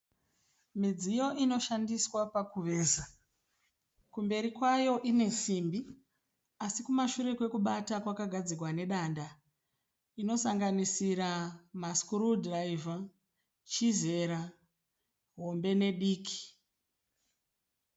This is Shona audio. Midziyo inoshandiswa pakuveza. Kumberi kwayo kunesimbi asi kumeshure kwayo yakagadzirwa nedanda. Inosanganisira ma screw driver, chizera hombe ne diki.